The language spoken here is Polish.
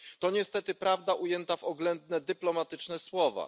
To niestety prawda ujęta w oględne dyplomatyczne słowa.